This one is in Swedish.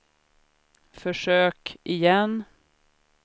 försök igen